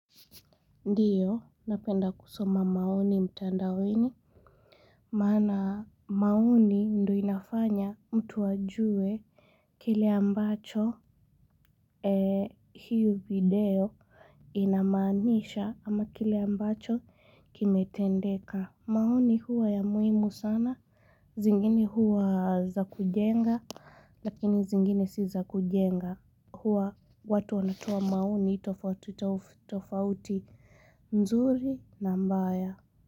Ndiyo, napenda kusoma maoni mtandaoni maana maoni ndio inafanya mtu ajue kile ambacho hiyo video inamaanisha ama kile ambacho kimetendeka maoni huwa ya muhimu sana, zingine huwa za kujenga, lakini zingine si za kujenga huwa watu wanatoa maoni tofautitofauti nzuri na mbaya.